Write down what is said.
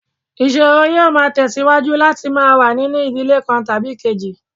Ìṣòro yóò máa tẹ̀síwájú láti máa wà nínú ìdílé kan tàbí èkejì